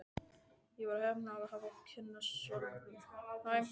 Ég var heppin að hafa kynnst Sölva.